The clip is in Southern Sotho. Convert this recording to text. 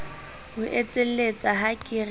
o etselletsa ha ke re